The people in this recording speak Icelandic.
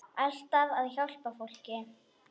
Alltaf að hjálpa fólki.